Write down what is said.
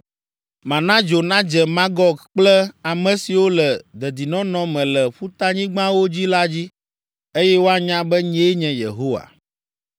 Mana dzo nadze Magog kple ame siwo le dedinɔnɔ me le ƒutanyigbawo dzi la dzi, eye woanya be, nyee nye Yehowa.